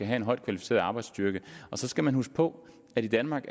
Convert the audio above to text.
have en højt kvalificeret arbejdsstyrke og så skal man huske på at danmark